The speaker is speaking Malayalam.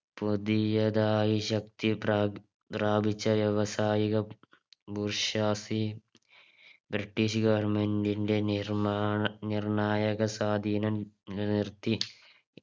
പുതിയതായി ശക്തി പ്രാപി പ്രാപിച്ച വ്യവസായിക ബൂർഷാസി British government ന്റെ നിർമാണ നിര്‍ണായക സ്വാധീനം നിർത്തി